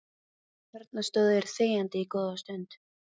Þarna stóðu þeir þegjandi góða stund